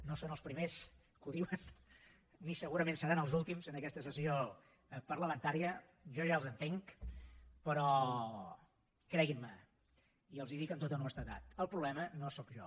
no són els primers que ho diuen ni segurament seran els últims en aquesta sessió parlamentària jo ja els entenc però creguinme i els ho dic amb tota honestedat el problema no sóc jo